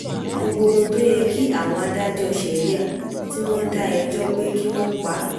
gbogbo ohun tó yẹ kí àwọn adájọ́ sharia tí wọ́n dá ẹjọ́ pé kí wọ́n pa